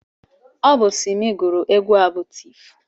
Ọ bụ Simi gụrụ egwu a bụ Tif.